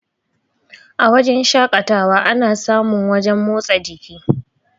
A wajen shakatawa ana sa mun wajen motsa jiki